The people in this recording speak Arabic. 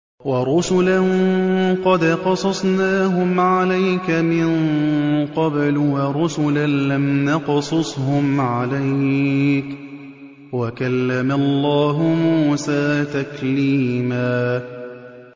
وَرُسُلًا قَدْ قَصَصْنَاهُمْ عَلَيْكَ مِن قَبْلُ وَرُسُلًا لَّمْ نَقْصُصْهُمْ عَلَيْكَ ۚ وَكَلَّمَ اللَّهُ مُوسَىٰ تَكْلِيمًا